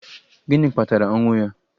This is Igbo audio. Gịnị kpatara ọnwụ ya?